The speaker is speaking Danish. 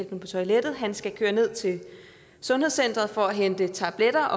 på toilettet og han skal køre ned til sundhedscenteret for at hente tabletter